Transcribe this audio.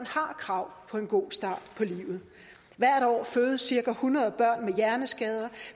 har krav på en god start på livet hvert år fødes cirka hundrede børn med hjerneskader